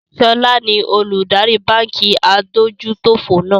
ṣọlá ni olùdarí báńkì adójútòfò náà.